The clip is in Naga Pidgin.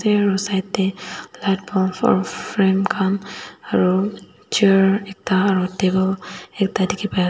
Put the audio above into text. mirror side tae light bulb aru frame khan aru chair ekta aru table ekta dekhi pai asa.